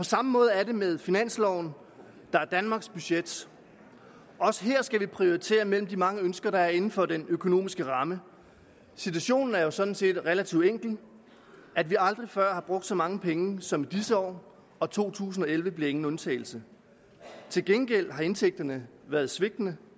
samme måde er det med finansloven der er danmarks budget også her skal vi prioritere mellem de mange ønsker der er inden for den økonomiske ramme situationen er jo sådan set relativt enkel at vi aldrig før har brugt så mange penge som i disse år og to tusind og elleve bliver ingen undtagelse til gengæld har indtægterne været svigtende